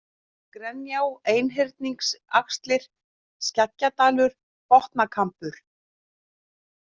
Grenjá, Einhyrningsaxlir, Skeggjadalur, Botnakambur